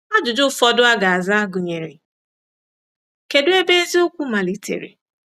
Ajụjụ ụfọdụ a ga-aza gụnyere: Kedụ ebe eziokwu malitere?